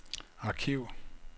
arkiv